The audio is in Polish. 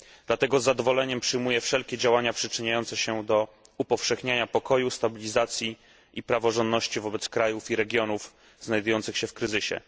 Dlatego z zadowoleniem przyjmuję wszelkie działania przyczyniające się do upowszechniania pokoju, stabilizacji i praworządności wobec krajów i regionów znajdujących się w kryzysie.